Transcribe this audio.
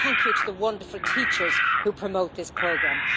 And thank you to the wonderful teachers who promote this programme.